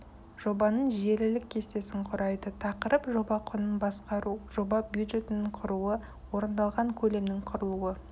жобаның желілік кестесін құрайды тақырып жоба құнын басқару жоба бюджетін құруы орындалған көлемнің құрылуы